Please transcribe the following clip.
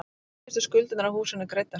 Síðustu skuldirnar af húsinu greiddar.